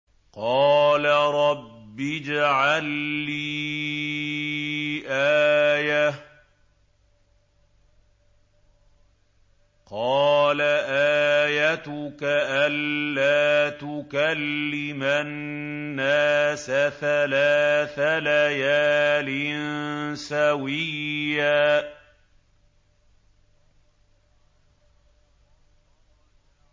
قَالَ رَبِّ اجْعَل لِّي آيَةً ۚ قَالَ آيَتُكَ أَلَّا تُكَلِّمَ النَّاسَ ثَلَاثَ لَيَالٍ سَوِيًّا